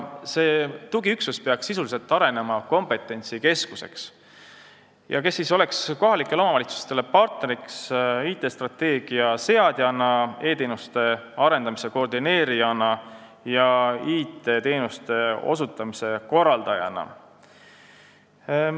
See tugiüksus peaks arenema sisuliselt kompetentsikeskuseks ning olema kohalikele omavalitsustele partneriks IT-strateegia seadjana, e-teenuste arendamise koordineerijana ja IT-teenuste osutamise korraldajana.